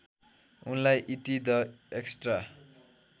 उनलार्इ ET the extra